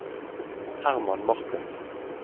Herman Martinsen